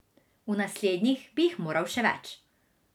V naslednjih bi jih moral še več.